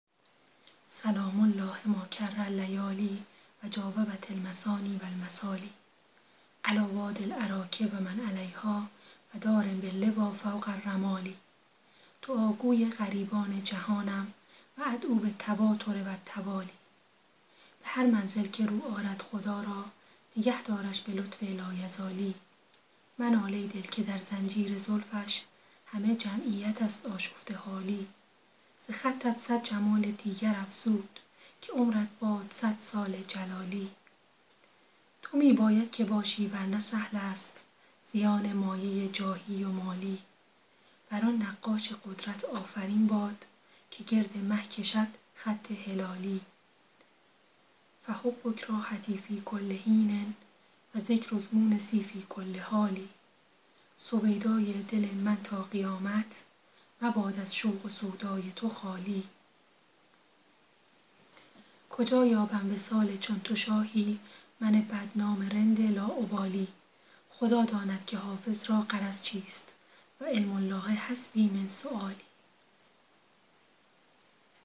سلام الله ما کر اللیالی و جاوبت المثاني و المثالي علیٰ وادي الأراک و من علیها و دار باللویٰ فوق الرمال دعاگوی غریبان جهانم و أدعو بالتواتر و التوالي به هر منزل که رو آرد خدا را نگه دارش به لطف لایزالی منال ای دل که در زنجیر زلفش همه جمعیت است آشفته حالی ز خطت صد جمال دیگر افزود که عمرت باد صد سال جلالی تو می باید که باشی ور نه سهل است زیان مایه جاهی و مالی بر آن نقاش قدرت آفرین باد که گرد مه کشد خط هلالی فحبک راحتی فی کل حین و ذکرک مونسی فی کل حال سویدای دل من تا قیامت مباد از شوق و سودای تو خالی کجا یابم وصال چون تو شاهی من بدنام رند لاابالی خدا داند که حافظ را غرض چیست و علم الله حسبي من سؤالي